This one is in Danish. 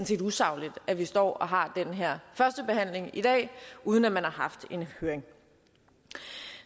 set usagligt at vi står og har den her førstebehandling i dag uden at man har haft en høring